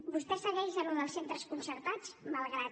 vostè segueix en allò dels centres concertats malgrat